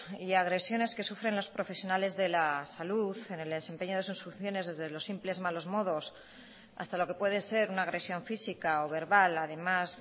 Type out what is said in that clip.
y agresiones que sufren los profesionales de la salud en el desempeño de sus funciones desde los simples malos modos hasta lo que puede ser una agresión física o verbal además